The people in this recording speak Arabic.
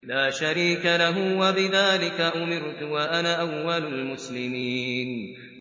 لَا شَرِيكَ لَهُ ۖ وَبِذَٰلِكَ أُمِرْتُ وَأَنَا أَوَّلُ الْمُسْلِمِينَ